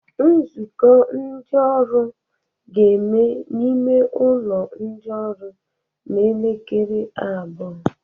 Nzukọ ndị ọrụ ga-eme n'ime ụlọ ndị ọrụ n'elekere abụọ